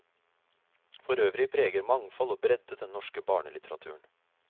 Forøvrig preger mangfold og bredde den norske barnelitteraturen.